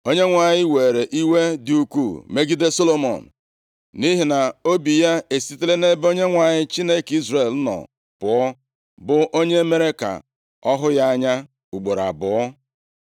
Onyenwe anyị were iwe dị ukwuu megide Solomọn, nʼihi na obi ya esitela nʼebe Onyenwe anyị Chineke Izrel nọ pụọ, bụ onye mere ka ọ hụ ya anya ugboro abụọ.